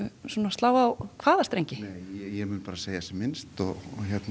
slá á hvaða strengi nei ég mun bara segja sem minnst og